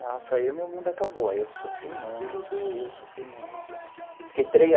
Nossa, aí o meu mundo acabou, aí eu sofri muito, sofri muito fiquei três